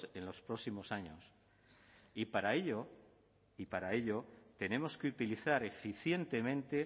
en los próximos años y para ello y para ello tenemos que utilizar eficientemente